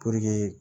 Puruke